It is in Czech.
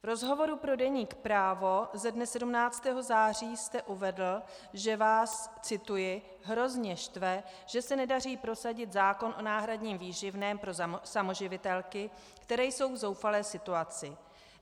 V rozhovoru pro deník Právo ze dne 17. září jste uvedl, že vás - cituji - "hrozně štve, že se nedaří prosadit zákon o náhradním výživném pro samoživitelky, které jsou v zoufalé situaci.